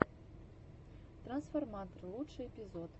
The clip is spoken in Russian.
трансформатор лучший эпизод